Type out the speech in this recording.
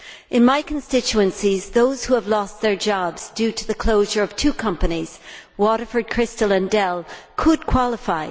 In my constituencies, those who have lost their jobs due to the closure of two companies Waterford Crystal and Dell could qualify.